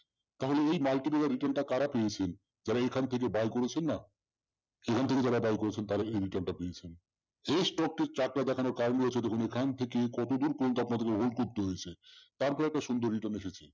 তাহলে এই multimedia return টা কারা পেয়েছেন? যারা এখান থেকে buy করেছেন না, এখান থেকে যারা buy করেছেন তারাই এই return টা পেয়েছেন।